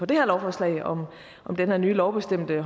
det her lovforslag om det her nye lovbestemte